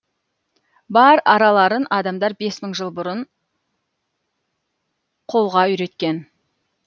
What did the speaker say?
бар араларын адамдар бес мың жыл бұрын қолға үйреткен